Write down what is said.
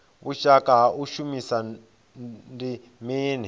vhushaka ha u shumisana ndi mini